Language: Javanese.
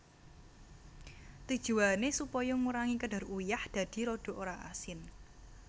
Tujuwané supaya ngurangi kadar uyah dadi rada ora asin